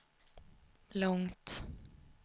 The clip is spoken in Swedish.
långt